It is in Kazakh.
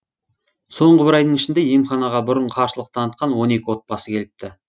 соңғы бір айдың ішінде емханаға бұрын қарсылық танытқан он екі отбасы келіпті